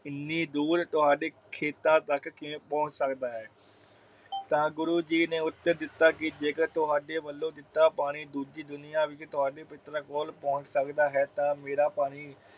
ਇਨੀ ਦੂਰ ਤੁਹਾਡੇ ਖੇਤਾਂ ਤੱਕ ਕਿਵੇਂ ਪਹੁੰਚ ਸਕਦਾ ਹੈ ਤਾ ਗੁਰੂ ਜੀ ਨੇ ਉੱਤਰ ਦਿਤਾ ਕਿ ਜੇਕਰ ਤੁਹਾਡੇ ਵਲੋਂ ਦਿੱਤਾ ਪਾਣੀ ਦੁਜੀ ਦੁਨੀਆਂ ਵਿਚ ਤੁਹਾਡੇ ਪਿਤਰਾਂ ਕੋਲ ਪਹੁੰਚ ਸਕਦਾ ਤਾ ਮੇਰਾ ਪਾਣੀ।